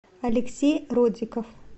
алексей родиков